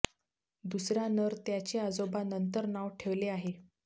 दुसरा नर त्याचे आजोबा नंतर नाव ठेवले आहे